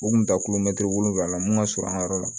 U kun bɛ taa wolonwula mun ka surun an ka yɔrɔ la